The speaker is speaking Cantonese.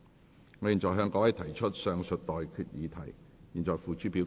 我現在向各位提出上述待決議題，付諸表決。